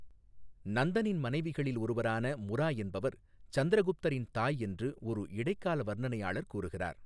நந்தனின் மனைவிகளில் ஒருவரான முரா என்பவர் சந்திரகுப்தரின் தாய் என்று ஒரு இடைக்கால வர்ணனையாளர் கூறுகிறார்.